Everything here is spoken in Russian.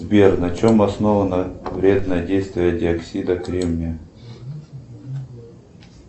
сбер на чем основано вредное действие диоксида кремния